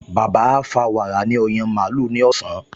Bàbá á fa wàrà ní ọyàn màlúù ní ọ̀sán